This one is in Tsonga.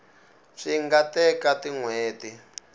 swi nga teka tin hweti